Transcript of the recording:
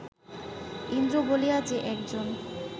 ইন্দ্র বলিয়া যে একজন